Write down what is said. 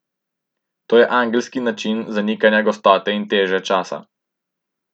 To je angelski način zanikanja gostote in teže časa.